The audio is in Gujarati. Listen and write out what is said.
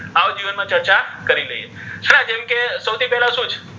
આવો જીવન મા ચર્ચા કરી લઇઍ હે ને જેમ કે સૌથી પહેલા શુ છે?